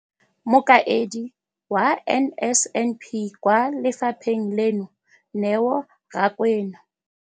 Mokaedi wa NSNP kwa lefapheng leno, Neo Rakwena.